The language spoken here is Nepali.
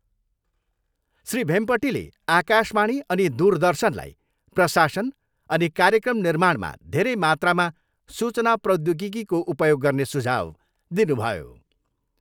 श्री भेम्पटीले आकाशवाणी अनि दूरदर्शनलाई प्रशासन अनि कार्यक्रम निर्माणमा धेरै मात्रामा सूचना प्रौद्योगिकीको उपयोग गर्ने सुझाउ दिनुभयो।